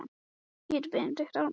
Pasta Hvað vilt þú fá á pizzuna þína?